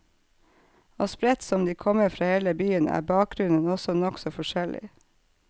Og spredt som de kommer fra hele byen, er bakgrunnen også nokså forskjellig.